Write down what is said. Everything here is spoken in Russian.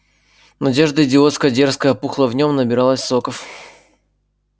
надежда идиотская дерзкая пухла в нём набиралась соков